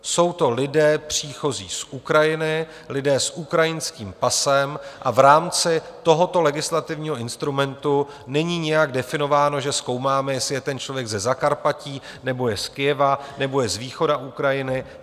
Jsou to lidé příchozí z Ukrajiny, lidé s ukrajinským pasem a v rámci tohoto legislativního instrumentu není nijak definováno, že zkoumáme, jestli je ten člověk ze Zakarpatí, nebo je z Kyjeva, nebo je z východu Ukrajiny.